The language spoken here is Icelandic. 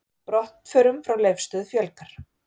Brottförum frá Leifsstöð fjölgar